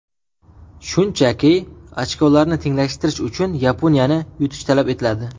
Shunchaki, ochkolarni tenglashtirish uchun Yaponiyani yutish talab etiladi.